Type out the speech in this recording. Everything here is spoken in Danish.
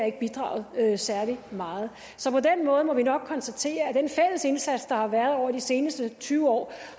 ikke bidraget særlig meget så på den måde må vi nok konstatere at den fælles indsats der har været over de seneste tyve år